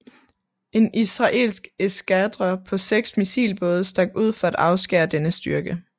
En israelsk eskadre på seks missilbåde stak ud for at afskære denne styrke